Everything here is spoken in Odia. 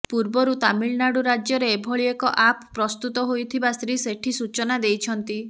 ପୂର୍ବରୁ ତାମିଲନାଡ଼ୁ ରାଜ୍ୟରେ ଏଭଳି ଏକ ଆପ୍ ପ୍ରସ୍ତୁତ ହୋଇଥିବା ଶ୍ରୀ ସେଠୀ ସୂଚନା ଦେଇଛନ୍ତି